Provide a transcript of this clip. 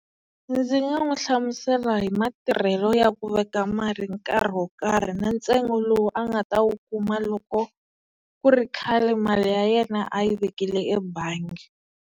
Ndzi nga n'wi hlamusela hi matirhelo ya ku veka mali nkarhi wo karhi na ntsengo lowu a nga ta wu kuma loko ku ri khale mali ya yena a yi vekile ebangi.